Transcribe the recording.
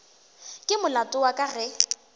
ke molato wa ka ge